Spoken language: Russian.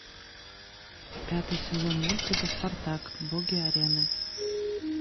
пятый сезон мультика спартак боги арены